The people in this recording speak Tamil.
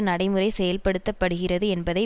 நடைமுறை செயல்படுத்த படுகிறது என்பதை